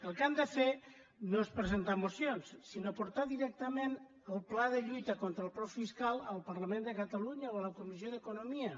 el que han de fer no és presentar mocions sinó portar directament el pla de lluita contra el frau fiscal al parlament de ca·talunya o a la comissió d’economia